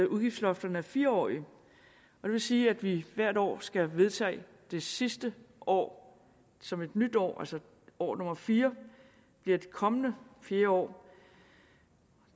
udgiftslofterne er fire årige det vil sige at vi hvert år skal vedtage det sidste år som et nyt år altså år nummer fire bliver det kommende fjerde år